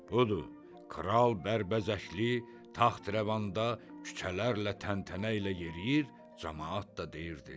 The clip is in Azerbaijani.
Budur, kral bərbəzəkli taxtrəvanda küçələrlə təntənə ilə yeriyir, camaat da deyirdi: